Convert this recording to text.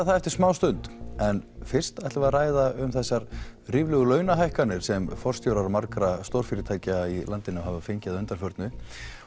það eftir smástund en fyrst ætlum við að ræða um þessar ríflegu launahækkanir sem forstjórar margar stórfyrirtækja í landinu hafa fengið að undanförnu